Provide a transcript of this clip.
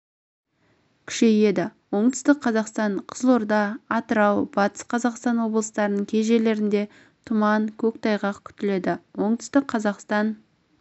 күшейеді оңтүстік қазақстан қызылорда атырау батыс қазақстан облыстарының кей жерлерінде тұман көктайғақ күтіледі оңтүстік қазақстан